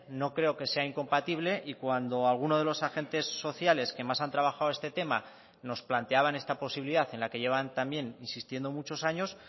no creo que sea incompatible y cuando alguno de los agentes sociales que más han trabajado este tema nos planteaban esta posibilidad en la que llevan también insistiendo muchos años